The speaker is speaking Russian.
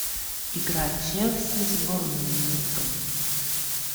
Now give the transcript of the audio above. игра челси с борнмутом